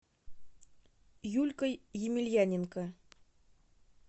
юлькой емельяненко